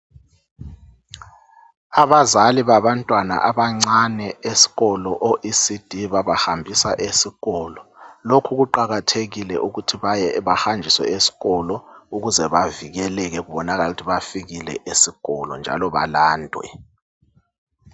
Abazali babantwana abancane esikolo, oECD, babahambisa esikolo, Lokhu kuqakathekile ukuthi bahanjiswe esikolo. Ukuze bavikeleke, kubonakale ukuthi bafikile esikolo, njalo balandwe.